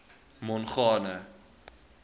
mongane